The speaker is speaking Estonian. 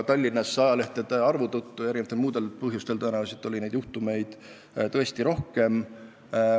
Tallinnas oli neid juhtumeid ajalehtede suurema arvu tõttu ja ka muudel põhjustel tõesti rohkem.